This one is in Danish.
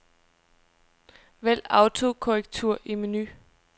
Vælg autokorrektur i menu.